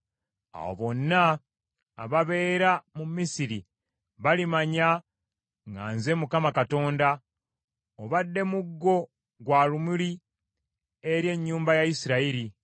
Awo bonna ababeera mu Misiri balimanya nga nze Mukama Katonda. “ ‘Obadde muggo gwa lumuli eri ennyumba ya Isirayiri.